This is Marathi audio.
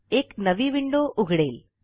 एक नवी विंडो उघडेल